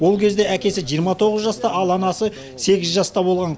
ол кезде әкесі жиырма тоғыз жаста ал анасы сегіз жаста болған